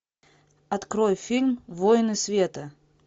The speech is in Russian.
открой фильм воины света